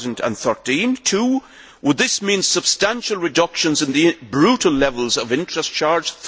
2013? Secondly, would this mean substantial reductions in the brutal levels of interest charged?